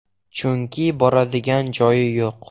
Chunki boradigan joyi yo‘q.